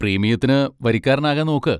പ്രീമിയത്തിന് വരിക്കാരനാകാൻ നോക്ക്.